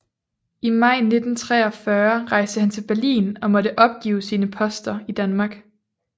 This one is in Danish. I maj 1943 rejste han til Berlin og måtte opgive sine poster i Danmark